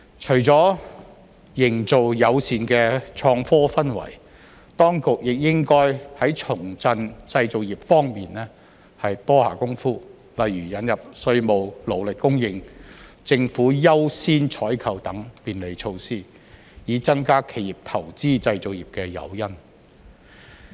除了營造友善的創科氛圍，當局亦應該在重振製造業方面多下工夫，例如引入稅務、勞力供應、政府優先採購等便利措施，以增加企業投資製造業的誘因。